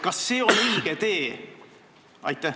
Kas see on õige tee?